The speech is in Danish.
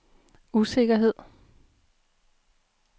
usikkerhed